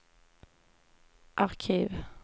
arkiv